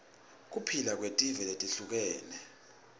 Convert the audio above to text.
kuphila kwetive letihlukahlukene